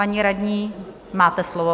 Paní radní, máte slovo.